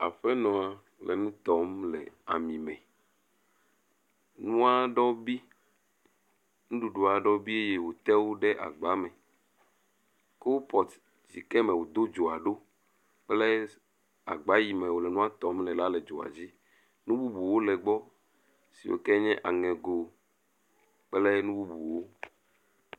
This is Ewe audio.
Aƒenɔ nɔ nu tɔm le ami me. Nu aɖewo bi. Nuɖuɖu aɖewo bi eye wòte ɖe agba me. Kubɔtu yi ke wòdo dzoa ɖo kple agba yi ke me wò nua tɔm le la le dzoa dzi. Nu bubuwo le egbɔ si ke nye aŋego kple nu bubuwo